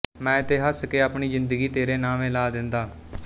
ਮੈਂ ਤੇ ਹੱਸ ਕੇ ਆਪਣੀ ਜ਼ਿੰਦਗੀ ਤੇਰੇ ਨਾਵੇਂ ਲਾ ਦੇਂਦਾ